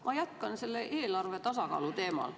Ma jätkan eelarve tasakaalu teemal.